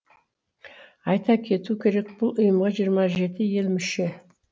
айта кету керек бұл ұйымға жиырма жеті ел мүше